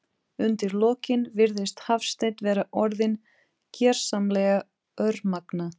Undir lokin virðist Hafsteinn vera orðinn gersamlega örmagna.